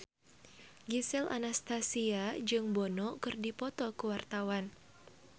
Gisel Anastasia jeung Bono keur dipoto ku wartawan